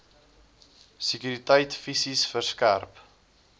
sekuriteit fisies verskerp